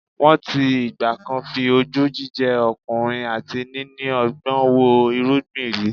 Wọ́n ti ìgbà-kan fi ojú jíjẹ́ ọkùnrin àti níní ọgbọ́n wo irungbọ̀ rí